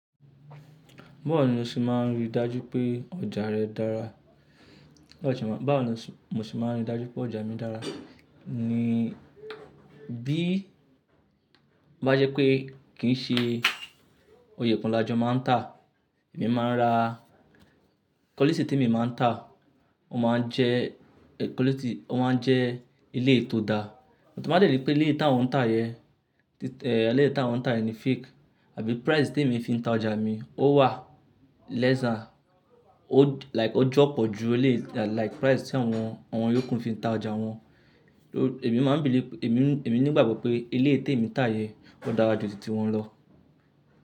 Báwo ni o ṣe máa n rí dájú pé ọjà rẹ dára? Báwo ni mo ṣe máa n rí dájú pé ọjà mi dára ni bí bá jẹ́ pé kì í ṣe òye kan lajọ máa ń tà, èmi máa ń ra quality tí èmi máa ń tà, ó máa ń jẹ́ quality, ó máa ń jẹ́ eleyii tó dá. Ti n báa dẹ̀rí pé elé yì ntàwọn ń tà yẹn, eh, elé tàwọn ń tà yẹn fake àbí price tí èmi fi ń ta ọjà mi ó wà lesser, ó like ó jọ̀pọ̀ ju ilé like price tí àwọn, àwọn iyokun fi ń ta ọjà wọn. Èmi máa ń believe èmi, èmi nígbàgbọ́ pé ilé tí èmi ń tà yẹn ó dára ju tìti wọn lọ.